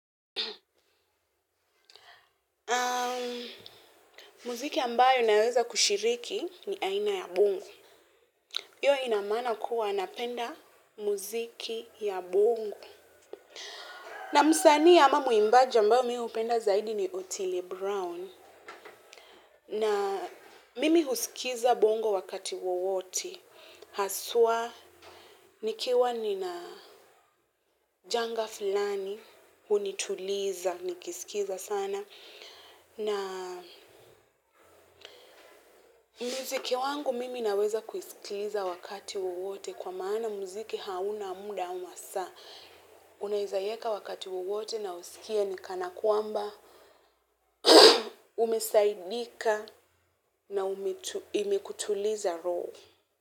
Muziki ambayo naweza kushiriki ni aina ya bongo. Hiyo inamaana kuwa napenda muziki wa bongo. Na msanii au mwimbaji ambaye mimi napenda zaidi ni Otile Brown. Na mimi husikiza bongo wakati wowote. Hasa, nikiwa nina janga fulani, hunituliza, nikisikiza sana. Na muziki wangu mimi naweza kuisikiliza wakati wote kwa maana muziki hauna muda au masaa. Unaweza iweka wakati wote na usikie kana kwamba umesaidika. Na imekutuliza roho.